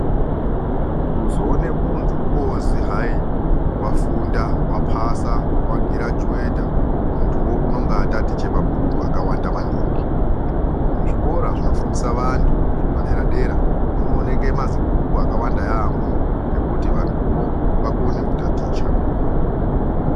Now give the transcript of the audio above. Kuzoone muntu ozi hayi wafunda wapasa wagirajuweta muntuyo nenge atatiche mabhuku akawanda maningi muzvikora zvinofundisa vantu zvepadera dera munooneke mazibhuku akawanda yaamho ekuti vantuwo vakone kutaticha.